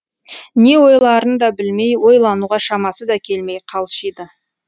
не ойларын да білмей ойлануға шамасы да келмей қалшиды